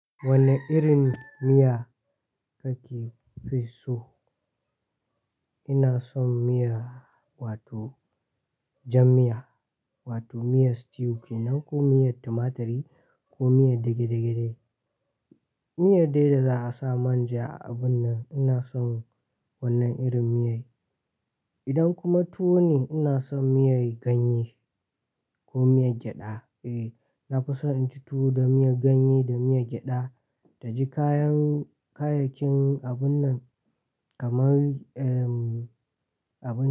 Wane irin miya kake fi so? Ina son miya wato jam miya wato miyar stew kenan ko miyar tumaturi ko miyar dage-dage. Miyar daya da za a sa man ja a abun nan, ina son wannan irin miya. Idan kuma tuwo ne, ina son miyar ganye ko miyar gyada. Eh, na fi so in ci tuwo da miyar ganye da miyar gyada, taji kayan kayayyakin abun nan kamar, ehm, abin.